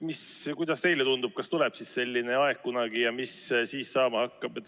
Kuidas teile tundub, kas kunagi tuleb selline aeg ja mis siis saama hakkab?